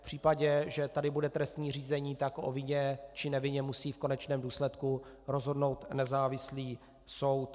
V případě, že tady bude trestní řízení, tak o vině či nevině musí v konečném důsledku rozhodnout nezávislý soud.